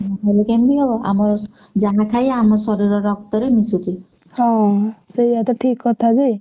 ହୁଁ ହେଲେ କେମିତି ହବ ଆମ ଯାହା ଖାଇବା ଆମ ଶରୀର ରକ୍ତରେ ମିଶୁଛି।